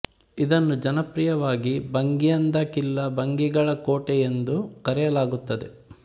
ಇದನ್ನು ಜನಪ್ರಿಯವಾಗಿ ಭಂಗಿಯನ್ ದಾ ಕಿಲ್ಲಾ ಭಂಗಿಗಳ ಕೋಟೆ ಎಂದು ಕರೆಯಲಾಗುತ್ತದೆ